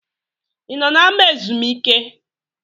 I nọ n’ama ezumike?